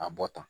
A bɔ tan